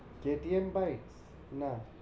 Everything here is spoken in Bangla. KTM bike? না।